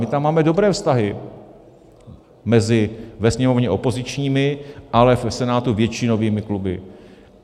My tam máme dobré vztahy mezi ve Sněmovně opozičními, ale v Senátu většinovými kluby.